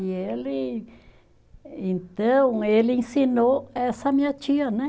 E ele, então, ele ensinou essa minha tia, né?